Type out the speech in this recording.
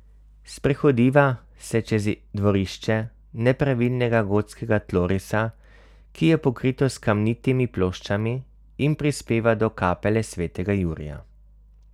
Sprehodiva se čez dvorišče nepravilnega gotskega tlorisa, ki je pokrito s kamnitimi ploščami, in prispeva do kapele svetega Jurija.